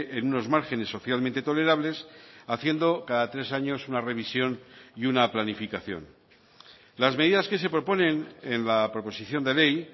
en unos márgenes socialmente tolerables haciendo cada tres años una revisión y una planificación las medidas que se proponen en la proposición de ley